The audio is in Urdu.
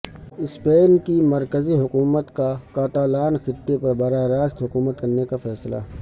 اسپین کی مرکزی حکومت کا کاتالان خطے پر براہ راست حکومت کرنے کا فیصلہ